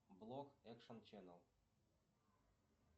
блок экшн ченел